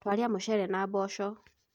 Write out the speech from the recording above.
Twarĩa mũcere na mboco